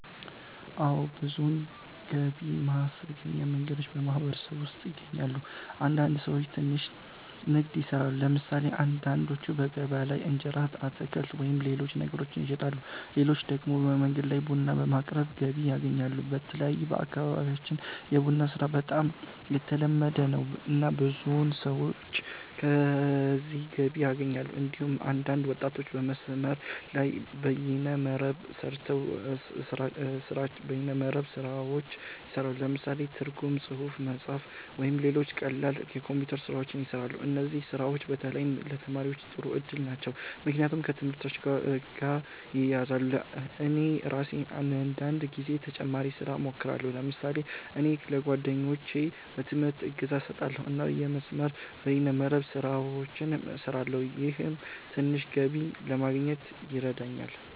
አዎ። ብዙ ገቢ ማስገኛ መንገዶች በማህበረሰቡ ውስጥ ይገኛሉ። አንዳንድ ሰዎች ትንሽ ንግድ ይሰራሉ። ለምሳሌ አንዳንዶቹ በገበያ ላይ እንጀራ፣ አትክልት ወይም ሌሎች ነገሮችን ይሸጣሉ። ሌሎች ደግሞ በመንገድ ላይ ቡና በማቅረብ ገቢ ያገኛሉ። በተለይ በአካባቢያችን የቡና ስራ በጣም የተለመደ ነው፣ እና ብዙ ሰዎች ከዚህ ገቢ ያገኛሉ። እንዲሁም አንዳንድ ወጣቶች በመስመር ላይ (በይነ መረብ) ስራዎች ይሰራሉ። ለምሳሌ ትርጉም፣ ጽሁፍ መጻፍ፣ ወይም ሌሎች ቀላል የኮምፒውተር ስራዎች ይሰራሉ። እነዚህ ስራዎች በተለይ ለተማሪዎች ጥሩ እድል ናቸው፣ ምክንያቱም ከትምህርታቸው ጋር ይያያዛሉ። እኔ ራሴም አንዳንድ ጊዜ ተጨማሪ ስራ እሞክራለሁ። ለምሳሌ እኔ ለጓደኞቼ በትምህርት እገዛ እሰጣለሁ እና የመስመር(በይነ መረብ) ስራዎችን እሰራለሁ። ይህም ትንሽ ገቢ ለማግኘት ይረዳኛል።